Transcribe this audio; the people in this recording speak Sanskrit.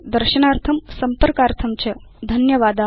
दर्शनार्थं संपर्कार्थं च धन्यवादा